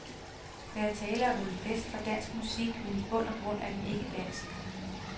Der er tale om en fest for dansk musik, men i bund og grund er den ikke dansk.